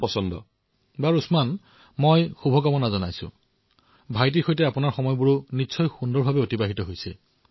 পুনৰ চিকিৎসালয়লৈ দৌৰিব লগীয়া হয়